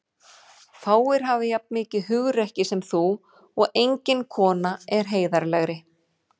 Fáir hafa jafn mikið hugrekki sem þú og engin kona er heiðarlegri.